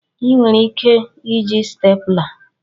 Ị nwere ike iji stapler.